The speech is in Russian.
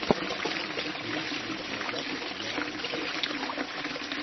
имеется ли у тебя запись я алиса